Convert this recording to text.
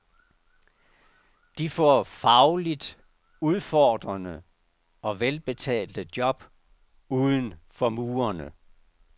De får fagligt udfordrende og velbetalte job uden for murene.